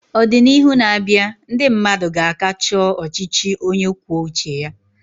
Ọdịnihu na-abịa, ndị mmadụ ka ga-achọ ọchịchị onye kwuo uche ya.